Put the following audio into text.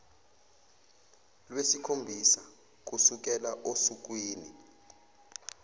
lwesikhombisa kusukela osukwini